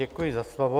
Děkuji za slovo.